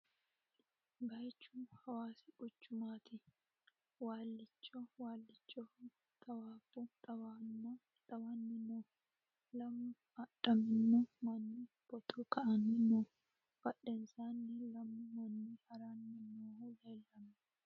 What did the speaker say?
Baayichu Hawaassi quchchumatti. waalicho waalichoho xawwabbu xawanni noo. Lamu adhaminno manni photo ka'anni noo. Badhennisanino lammu manni harranni noohu leelanno